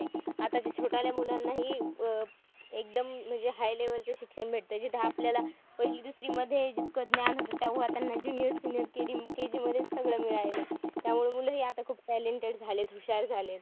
आताच्या छोटाल्या मुलांनीही अह एकदम म्हणजे high level चं शिक्षण भेटतंय. जिथं आपल्याला पहिली दुसरीमध्ये जितकं ज्ञान होतं, तेव्हा त्यांना junior, senior, KD, KG मध्येचं सगळं मिळालंय. त्यामुळे मुलंही आता talented खूप हुशार झालेत.